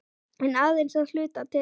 En aðeins að hluta til.